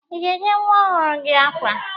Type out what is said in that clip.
Ị ga-enye nwa ọhụrụ gị akwa?